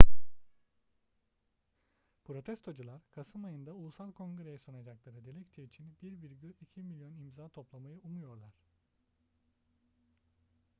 protestocular kasım ayında ulusal kongre'ye sunacakları dilekçe için 1,2 milyon imza toplamayı umuyorlar